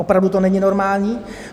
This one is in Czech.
Opravdu to není normální.